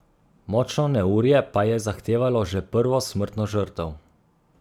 Močno neurje pa je zahtevalo že prvo smrtno žrtev.